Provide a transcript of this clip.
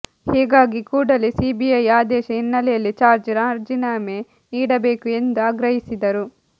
ಹೀಗಾಗಿ ಕೂಡಲೇ ಸಿಬಿಐ ಆದೇಶ ಹಿನ್ನೆಲೆಯಲ್ಲಿ ಜಾರ್ಜ್ ರಾಜಿನಾಮೆ ನೀಡಬೇಕು ಎಂದು ಆಗ್ರಹಿಸಿದರು